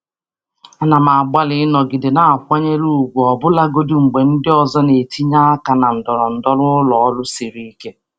Ana m agbalị ịnọgide na-akwanyere ùgwù ọbụlagodi mgbe ndị ọzọ na-etinye aka na ndọrọndọrọ ụlọ ọrụ siri ike. ọrụ siri ike.